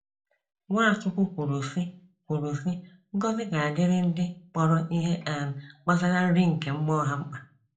Nwachukwu kwuru sị, kwuru sị, ngọzi ga adiri ndị kpọrọ Ihe um gbasara nri nke mmụọ ha mkpa.